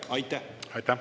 Teie aeg!